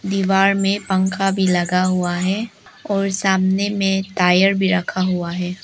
दीवार में पंखा भी लगा हुआ है और सामने में टायर भी रखा हुआ है।